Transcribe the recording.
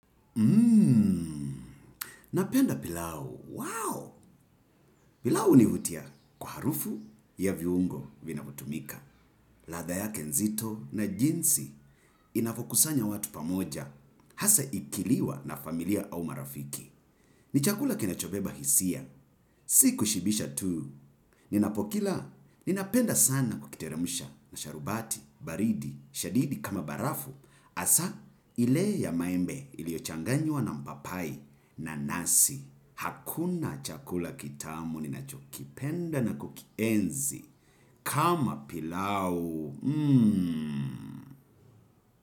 Napenda pilau. Wow! Pilau hunivutia kwa harufu ya viungo vinavyotumika. Ladha yake nzito na jinsi inavyokusanya watu pamoja hasa ikiliwa na familiya au marafiki. Ni chakula kinachobeba hisiya, si kushibisha tuu, ninapokila, ninapenda sana kukiteremusha na sharubati, baridi, shadidi kama barafu, hasa ile ya maembe iliyochanganywa na mpapai na nasi. Hakuna chakula kitamu ninchokipenda na kukihenzi kama pilau mmh.